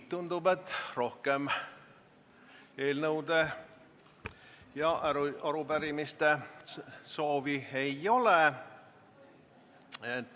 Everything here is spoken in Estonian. Tundub, et rohkem eelnõude ja arupärimiste üleandmise soovi ei ole.